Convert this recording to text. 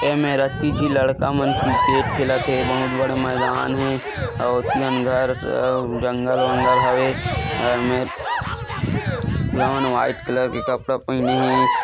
ए मेर अत्ति च लड़कामन किरकेट खेलत हे बहुत बड़े मैदान हे अउ अती कन घर अउर जंगल-वंगल हवे ऐमेर टुरा मन व्हाइट कलर के कपड़ा पहीने हे।